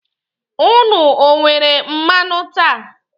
Ụnụ o nwere mmanụaṅụ taa?